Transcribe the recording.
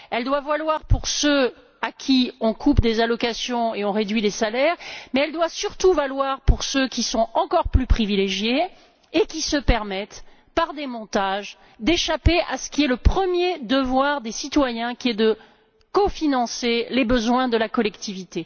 Elle doit valoir pour ceux à qui on coupe des allocations et on réduit les salaires, mais elle doit, surtout, valoir pour ceux qui sont encore plus privilégiés et qui se permettent, par des montages, d'échapper à ce qui est le premier devoir des citoyens, qui est de cofinancer les besoins de la collectivité.